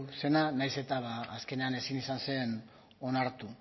zena nahiz eta azkenean ezin izan zen onartu